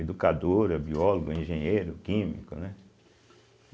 educadora, biólogo, engenheiro, químico, né?